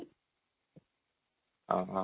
ହଁ ହଁ